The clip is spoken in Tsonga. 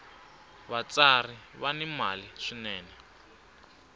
vatsari va ni mali swinene